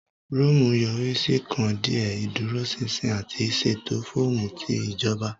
Rome yori si kan diẹ idurosinsin ati ṣeto fọọmu ti ijoba.